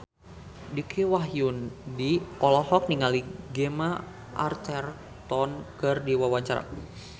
Dicky Wahyudi olohok ningali Gemma Arterton keur diwawancara